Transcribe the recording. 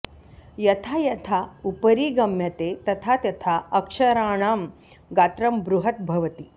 यथा यथा उपरि गम्यते तथा तथा अक्षराणां गात्रं बृहत् भवति